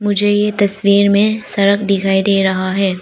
मुझे यह तस्वीर में सड़क दिखाई दे रहा है।